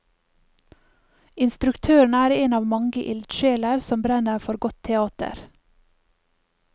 Instruktøren er en av mange ildsjeler som brenner for godt teater.